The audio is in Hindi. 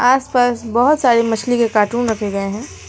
आसपास बहुत सारी मछली के कार्टून रखे गए हैं।